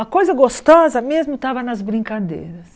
A coisa gostosa mesmo estava nas brincadeiras.